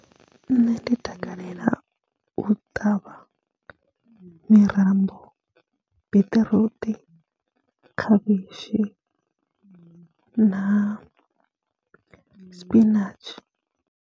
Nṋe ndi takalela u ṱavha mirambo, beṱiruṱi, khavhishi na spinatshi.